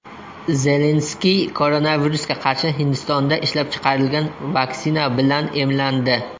Zelenskiy koronavirusga qarshi Hindistonda ishlab chiqarilgan vaksina bilan emlandi.